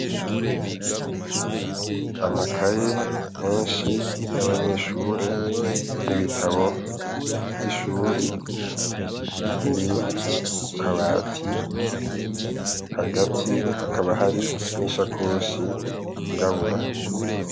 Amakaye menshi yabanyeshuri n'ibitabo vyab'abanyeshuri, biri kukabati hagati hakaba harishakoshi yirabura.